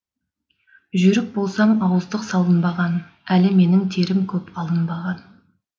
жүйрік болсам ауыздық салынбаған әлі менің терім көп алынбаған